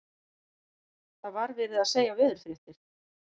Það var verið að segja veðurfréttir.